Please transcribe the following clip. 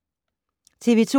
TV 2